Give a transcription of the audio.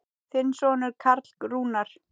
Þinn sonur Karl Rúnar.